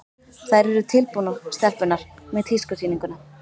Þær eru tilbúnar, stelpurnar, með tískusýninguna.